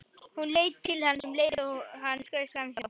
Hún leit til hans um leið og hann skaust framhjá.